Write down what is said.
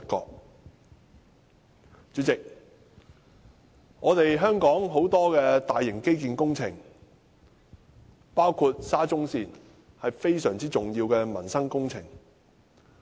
代理主席，香港很多大型基建工程，包括沙中線，是非常重要的民生工程。